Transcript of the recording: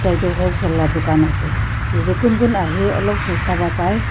edu wholesale la dukan ase yate kun kun ahae olop sosta pa pai.